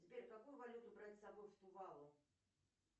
сбер какую валюту брать с собой в тувалу